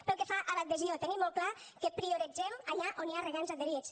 pel que fa a l’adhesió tenim molt clar que prioritzem allà on hi ha regants adherits